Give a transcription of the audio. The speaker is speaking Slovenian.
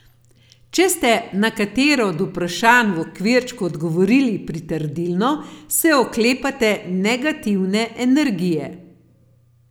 Če ste na katero od vprašanj v okvirčku odgovorili pritrdilno, se oklepate negativne energije.